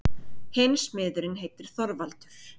Hinn smiðurinn heitir Þorvaldur.